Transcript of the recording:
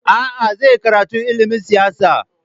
A'a, zai yi karatu ilimin siyasa.